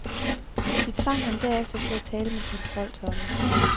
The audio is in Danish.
De tvang ham derefter til at tale med kontroltårnet.